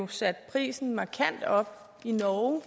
satte prisen markant op i norge